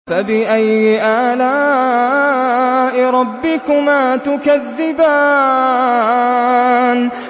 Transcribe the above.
فَبِأَيِّ آلَاءِ رَبِّكُمَا تُكَذِّبَانِ